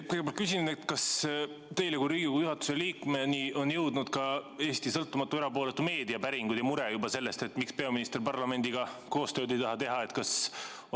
Kõigepealt küsin: kas teie kui Riigikogu juhatuse liikmeni on jõudnud ka Eesti sõltumatu ja erapooletu meedia päringud ja mure selle pärast, miks peaminister parlamendiga koostööd ei taha teha?